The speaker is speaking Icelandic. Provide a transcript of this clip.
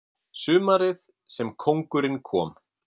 Sumarið sem kóngurinn kom